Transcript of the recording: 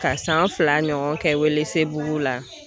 Ka san fila ɲɔgɔn kɛ Welesebugu la.